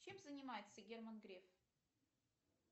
чем занимается герман греф